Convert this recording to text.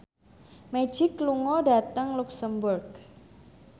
Magic lunga dhateng luxemburg